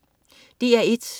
DR1: